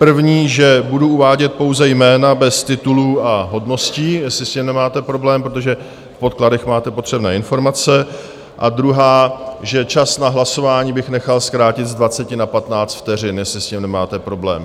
První, že budu uvádět pouze jména bez titulů a hodností, jestli s tím nemáte problém, protože v podkladech máte potřebné informace, a druhá, že čas na hlasování bych nechal zkrátit z 20 na 15 vteřin, jestli s tím nemáte problém.